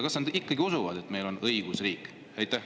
Kas nad ikkagi usuvad, et meil on õigusriik?